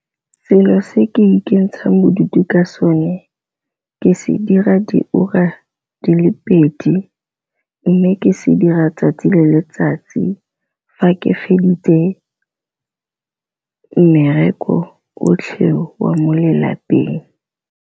Selo se ke ikentshang bodutu ka sone ke se dira di ura di le pedi, mme ke se dira tsatsi le letsatsi fa ke feditse mmereko otlhe wa mo lelapeng.